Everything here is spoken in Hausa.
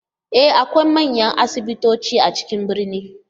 E! akwai manyan asibitoci a cikin birni.